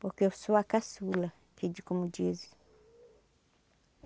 Porque eu sou a caçula, que de como diz.